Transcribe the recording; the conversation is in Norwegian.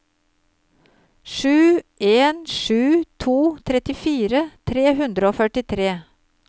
sju en sju to trettifire tre hundre og førtitre